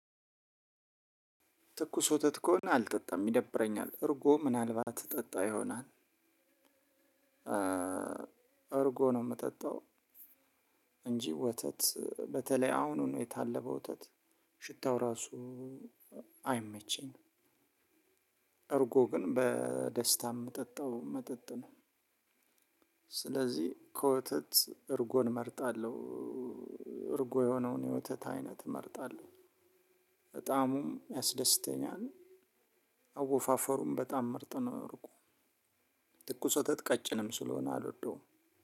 ትኩስ ወተት ከሆነ አልጠጣም ይደብረኛል እርጎ ምናልባት እጠጣ ይሆናል። እርጎ ነው የምጠጣው። እንጂ ወተት በተለይ አሁኑኑ የታለበ ወተት ሽታው ራሱ አይመቸኝም። እርጎ ግን በደስታ የምጠጣው መጠጥ ነው። ስለዚህ ከወተት እርጎን እመርጣለሁ። እርጎ የሆነውን የወተት አይነት እመርጣለሁ። በጣምም ያስደስተኛል። አወፋፈሩም በጣም ምርጥ ነው እርጎ። ትኩስ ወተት ቀጭንም ስለሆነ አልወደውም።